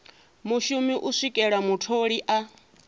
mushumi u swikela mutholi a